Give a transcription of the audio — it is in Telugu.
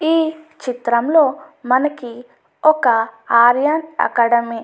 ఈ చిత్రంలో మనకి ఒక ఆర్యన్ అకాడమీ --